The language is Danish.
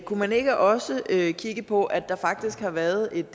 kunne man ikke også kigge på at der faktisk har været et